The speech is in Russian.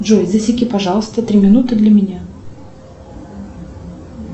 джой засеки пожалуйста три минуты для меня